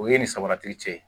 O ye ni sabarati cɛ ye